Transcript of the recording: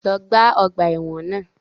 Lọ gbá ọgbà ẹ̀wọ̀n náà!